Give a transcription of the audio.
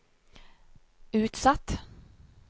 utsatt